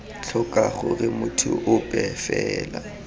tlhoka gore motho ope fela